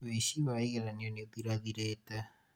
wĩici wa igeranio nĩ ũthirathirĩte